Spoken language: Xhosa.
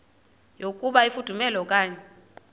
yokuba ifudumele okanye